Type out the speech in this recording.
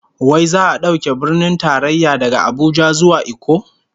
Wai za'a dauke Birnin Tarayya daga Abuja zuwa Ikko?